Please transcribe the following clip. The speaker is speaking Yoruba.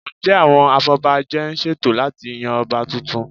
Ǹjẹ́ àwọn afọbajẹ ń ṣètò láti yan Ọba tuntun?